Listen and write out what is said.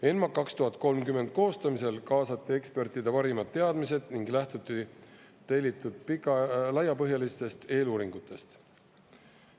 ENMAK 2030 koostamisel kaasati ekspertide parimad teadmised ning lähtuti tellitud laiapõhjalistest eeluuringutest.